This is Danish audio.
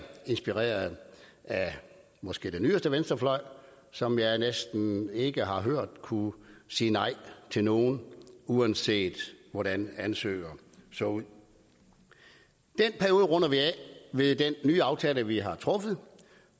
inspireret af måske den yderste venstrefløj som jeg næsten ikke har hørt kunne sige nej til nogen uanset hvordan ansøgningen så ud den periode runder vi af med den nye aftale vi har truffet